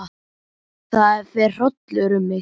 Það fer hrollur um mig.